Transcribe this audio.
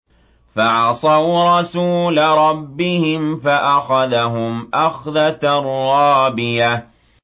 فَعَصَوْا رَسُولَ رَبِّهِمْ فَأَخَذَهُمْ أَخْذَةً رَّابِيَةً